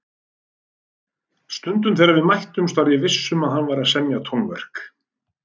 Stundum þegar við mættumst var ég viss um að hann væri að semja tónverk.